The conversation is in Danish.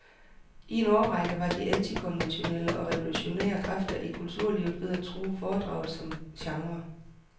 I en årrække var de antikonventionelle og revolutionære kræfter i kulturlivet ved at true foredraget som genre.